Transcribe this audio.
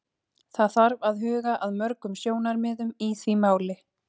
Það þarf að huga að mörgum sjónarmiðum í því máli.